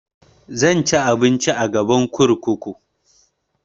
Zan ci abinci a gaban kurkuku